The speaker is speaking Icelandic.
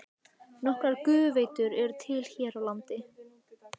Hverjir myndu sitja eftir og gætu ekki horft á þetta?